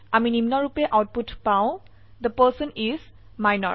আমি নিম্নৰুপে আউটপুট পাও থে পাৰ্চন ইচ মিনৰ